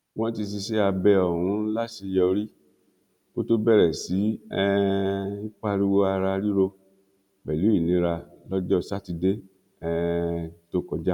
wọn ti ṣiṣẹ abẹ ọhún láṣeyọrí kó tóó bẹrẹ sí um í pariwo ara ríro pẹlú ìnira lọjọ sátidé um tó kọjá